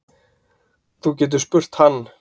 Þú getur spurt hann.